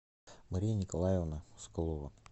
мария николаевна соколова